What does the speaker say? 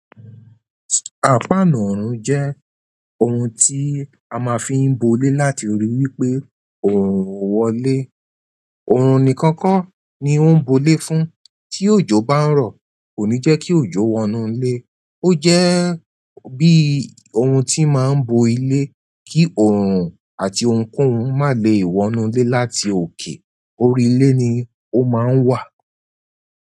À páǹu ọ̀rùn jẹ́ òun ti a ma n fi bo ilé láti rí i wípé oòrùn o wọlé. Oorun nìkan ko ni o n bo ile fún tí òjò bá n rọ, kò ní jẹ́ kí òjò wọnú ilé. O jẹ bi ohun tí n má n bo ilé kí oòrùn àti ohunkóhun má lè wọnú ilé láti òkè. Orí ilé ni o má n wà.